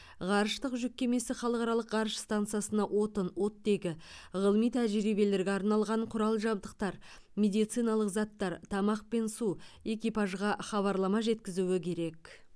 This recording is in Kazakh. ғарыштық жүк кемесі халықаралық ғарыш стансасына отын оттегі ғылыми тәжірибелерге арналған құрал жабдықтар медициналық заттар тамақ пен су экипажға хабарлама жеткізуі керек